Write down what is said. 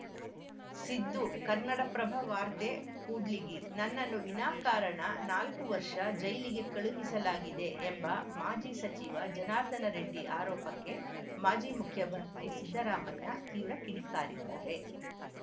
ಸಿದ್ದು ಕನ್ನಡಪ್ರಭ ವಾರ್ತೆ ಕೂಡ್ಲಿಗಿ ನನ್ನನ್ನು ವಿನಾಕಾರಣ ನಾಲ್ಕು ವರ್ಷ ಜೈಲಿಗೆ ಕಳುಹಿಸಲಾಗಿದೆ ಎಂಬ ಮಾಜಿ ಸಚಿವ ಜನಾರ್ದನ ರೆಡ್ಡಿ ಆರೋಪಕ್ಕೆ ಮಾಜಿ ಮುಖ್ಯಮಂತ್ರಿ ಸಿದ್ದರಾಮಯ್ಯ ತೀವ್ರ ಕಿಡಿಕಾರಿದ್ದಾರೆ